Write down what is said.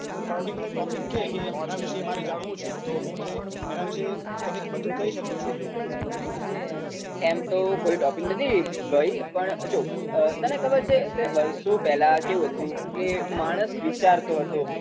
Particular topic કે કે મારે આના વીશે જાણવુ છે. તો હું તને એના વીશે બધુ કહી શકુ છુ. એમ તો કોઈ ટોપીક નથી ભઈ પણ જો તને ખબર છે કે વર્ષો પહેલા કેવુ હતુ કે માણસ વીચારતો હતો